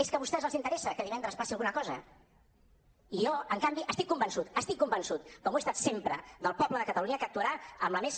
és que a vostès els interessa que divendres passi alguna cosa jo en canvi estic convençut estic convençut com ho he estat sempre del poble de catalunya que actuarà amb la més